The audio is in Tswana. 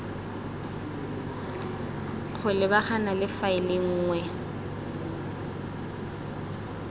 go lebagana le faele nngwe